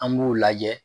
An b'u lajɛ